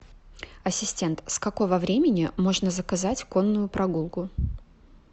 ассистент с какого времени можно заказать конную прогулку